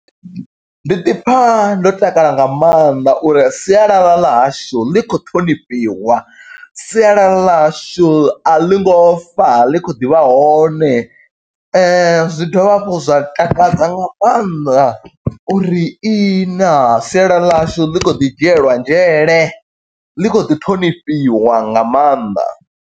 Ndi ḓi pfa ndo takala nga maanḓa uri sialala ḽa hshu ḽi khou ṱhonifhiwa, sialala ḽa hashu a ḽi ngo fa, ḽi kho ḓivha hone. Zwi dovha hafhu zwa takadza nga maanḓa uri ihi naa, sialala ḽa hashu ḽi kho ḓi dzhielwa nzhele. Ḽi khou ḓi ṱhonifhiwa nga maanḓa.